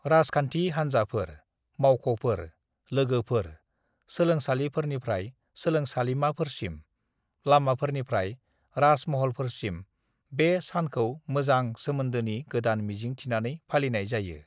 "राजखान्थि हानजाफोर, मावख'फोर, लोगोफोर, सोलोंसालिफोरनिफ्राय सोलोंसालिमाफोरसिम, लामाफोरनिफ्राय राजमहलफोरसिम बे सानखौ मोजां सोमोनदोनि गोदान मिजिं थिनानै फालिनाय जायो।"